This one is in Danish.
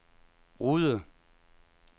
Rude